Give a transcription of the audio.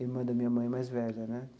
Irmã da minha mãe mais velha, né?